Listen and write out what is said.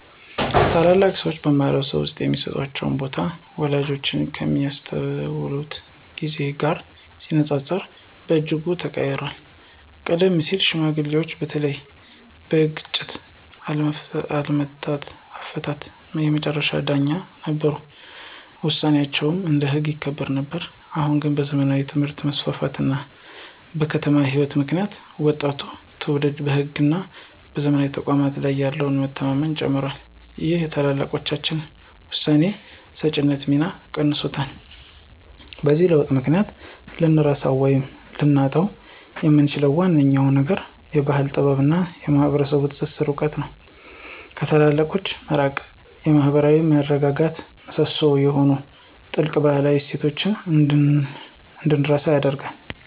ታላላቅ ሰዎች በማኅበረሰብ ውስጥ የሚሰጣቸው ቦታ ወላጆቻችን ከሚያስታውሱት ጊዜ ጋር ሲነጻጸር በእጅጉ ተቀይሯል። ቀደም ሲል ሽማግሌዎች በተለይም በግጭት አፈታት የመጨረሻ ዳኞች ነበሩ፤ ውሳኔያቸውም እንደ ሕግ ይከበር ነበር። አሁን ግን በዘመናዊ ትምህርት መስፋፋት እና በከተማ ሕይወት ምክንያት ወጣቱ ትውልድ በሕግና በዘመናዊ ተቋማት ላይ ያለው መተማመን ጨምሯል ይህም የታላላቆችን የውሳኔ ሰጪነት ሚና ቀንሶታል። በዚህ ለውጥ ምክንያት ልንረሳው ወይም ልናጣው የምንችለው ዋነኛው ነገር የባሕል ጥበብና የማኅበረሰብ ትስስር እውቀት ነው። ከታላላቆች መራቅ የማኅበራዊ መረጋጋት ምሰሶ የሆኑትን ጥልቅ ባህላዊ እሴቶች እንድንረሳ ያደርገናል።